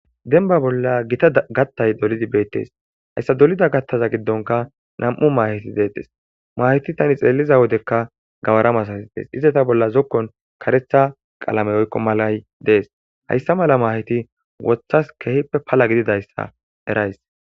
Denba bolla gita gattay dolidi beettees hayssa dolida gattaza giddonka nam'u maaheti deettes maheti tani xeelliza wodekka gawara masasi tees iza ta bolla zokkon karetha qalame oykko malay dees hayssa mala maaheti wothas kehippe pala gididayssa erays